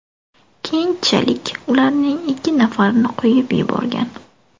Keyinchalik ularning ikki nafarini qo‘yib yuborgan.